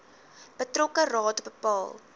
betrokke raad bepaal